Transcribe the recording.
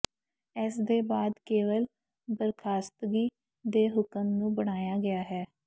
ਇਸ ਦੇ ਬਾਅਦ ਕੇਵਲ ਬਰਖਾਸਤਗੀ ਦੇ ਹੁਕਮ ਨੂੰ ਬਣਾਇਆ ਗਿਆ ਹੈ